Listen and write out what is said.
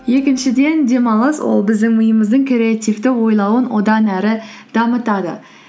екіншіден демалыс ол біздің миымыздың креативті ойлауын одан әрі дамытады